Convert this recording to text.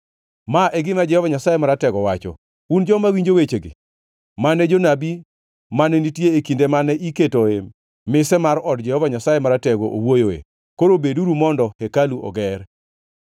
Ma e gima Jehova Nyasaye Maratego wacho: “Un joma winjo wechegi mane jonabi mane nitie e kinde mane iketo mise mar od Jehova Nyasaye Maratego owuoyoe, koro beduru mondo hekalu oger.